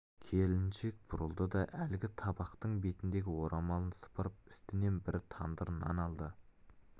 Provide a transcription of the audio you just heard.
келіншек бұрылды да әлгі табақтың бетіндегі орамалын сыпырып үстінен бір тандыр нан алды